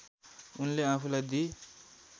उनले आफूलाई दि